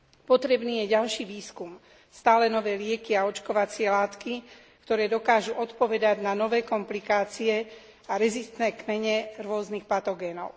Potrebný je ďalší výskum, stále nové lieky a očkovacie látky, ktoré dokážu odpovedať na nové komplikácie a rezistentné kmene rôznych patogénov.